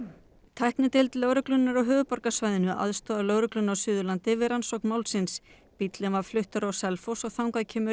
tæknideild lögreglunnar á höfuðborgarsvæðinu aðstoðar lögregluna á Suðurlandi við rannsókn málsins bíllinn var fluttur á Selfoss og þangað kemur